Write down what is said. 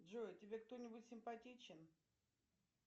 джой тебе кто нибудь симпатичен